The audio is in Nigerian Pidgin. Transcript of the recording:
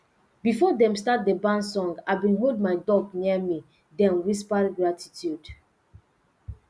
before dem start the barn song i been hold my duck near me den whisper gratitude